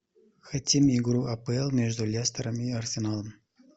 хотим игру апл между лестером и арсеналом